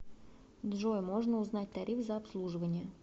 джой можно узнать тариф за обслуживание